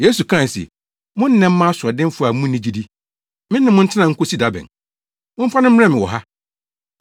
Yesu kae se, “Mo nnɛ mma asoɔdenfo a munni gyidi! Me ne mo ntena nkosi da bɛn? Momfa no mmrɛ me wɔ ha.”